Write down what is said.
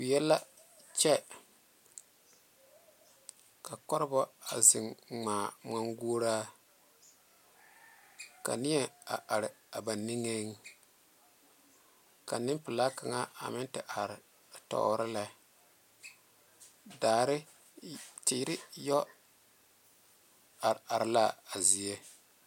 Wie la kyɛ ka kɔreba zeŋ ŋmaŋ gole ka neɛ are ba niŋe ka neŋpɛla kaŋa meŋ are tore daare teera yɛ are are la a zie.